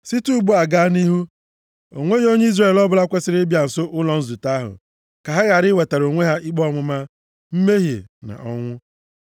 Site ugbu a gaa nʼihu, o nweghị onye Izrel ọbụla kwesiri ịbịa nso ụlọ nzute ahụ, ka ha ghara iwetara onwe ha ikpe ọmụma, mmehie na ọnwụ.